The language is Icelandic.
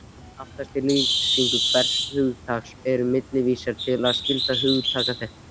Aftast í lýsingu hvers hugtaks eru millivísanir til skyldra hugtakaheita.